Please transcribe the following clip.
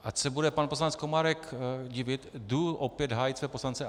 Ač se bude pan poslanec Komárek divit, jdu opět hájit své poslance.